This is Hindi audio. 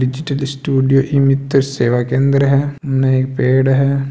डिजिटल स्टूडियो ई-मीतर सेवा के अंदर है इने एक पेड़ है।